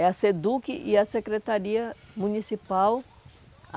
É a SEDUC e a Secretaria Municipal. A